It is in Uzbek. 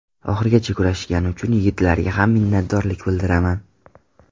Oxirigacha kurashishgani uchun yigitlarga ham minnatdorlik bildiraman.